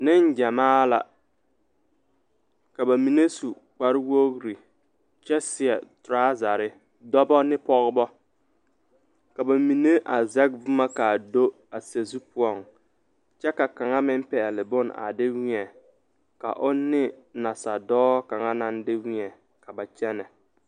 Nengyamaa la ka ba mine su kparewogri kyɛ seɛ torɔzare dɔba ne pɔgeba ka ba mine a zɛge boma k,a do sazu poɔŋ kyɛ ka kaŋa meŋ pɛgle bone a de weɛ ka o ne nasadɔɔ kaŋa naŋ de weɛŋ ka ba kyɛnɛ.